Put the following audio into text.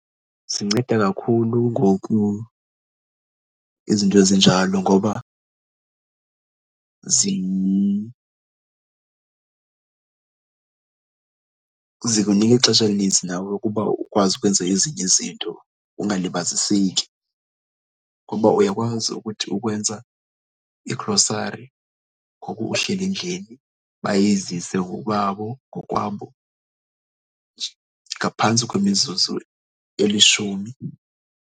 Zinceda kakhulu ngoku izinto ezinjalo ngoba zikunika ixesha elininzi nawe ukuba ukwazi ukwenza ezinye izinto, ungalibaziseki. Ngoba uyakwazi ukuthi ukwenza igrosari ngoku uhleli endlini, bayizise ngokwabo ngokwabo ngaphantsi kwemizuzu elishumi.